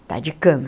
Está de cama.